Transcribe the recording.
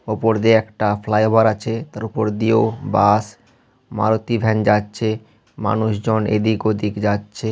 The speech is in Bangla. ওপর দিয়ে একটা ফ্লাইওভার আছে তার উপর দিয়েও বাস মারুতি ভ্যান যাচ্ছে মানুষজন এদিক-ওদিক যাচ্ছে।